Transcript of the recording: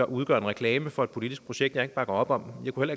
udgør en reklame for et politisk projekt jeg ikke bakker op om jeg kunne